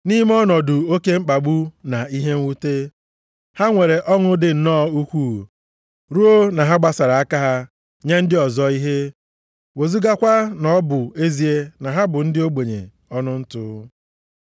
Nʼime ọnọdụ oke mkpagbu na ihe mwute, ha nwere ọṅụ dị nnọọ ukwuu ruo na ha gbasara aka ha nye ndị ọzọ ihe, wezugakwa na ọ bụ ezie na ha bụ ndị ogbenye ọnụ ntụ.